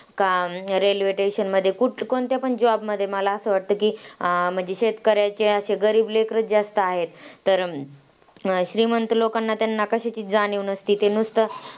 काम, railway station मध्ये कुठ कोणत्या पण job मध्ये मला असं वाटतं की, अं म्हणजे शेतकऱ्यांचे असे गरीब लेकरंच जास्त आहे. तर श्रीमंत लोकांना त्यांना कशाचीच जाणीव नसते ते नुसतं,